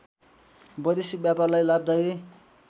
वैदेशिक व्यापारलाई लाभदायी